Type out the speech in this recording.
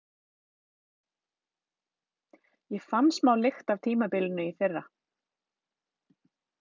Ég fann smá lykt af tímabilinu í fyrra.